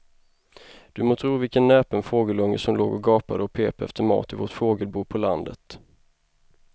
Du må tro vilken näpen fågelunge som låg och gapade och pep efter mat i vårt fågelbo på landet.